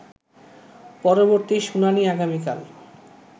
পরবর্তী শুনানি আগামীকাল